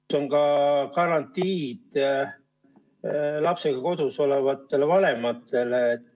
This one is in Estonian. Kas on ka garantiid lapsega kodus olevatele vanematele?